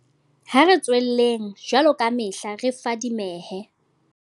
Ha re tswelleng, jwaloka kamehla, re fadimehe.